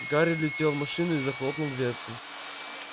гарри влетел в машину и захлопнул дверцу